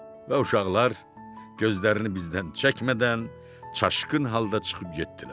Və uşaqlar gözlərini bizdən çəkmədən, çaşqın halda çıxıb getdilər.